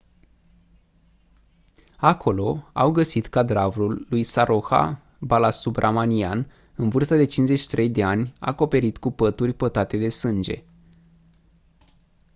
acolo au găsit cadavrul lui saroja balasubramanian în vârstă de 53 de ani acoperit cu pături pătate de sânge